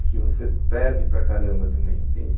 É que você perde para caramba também, entende?